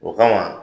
O kama